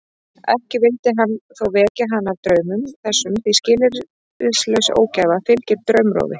Ekki vildi hann þó vekja hana af draumum þessum því skilyrðislaus ógæfa fylgir draumrofi.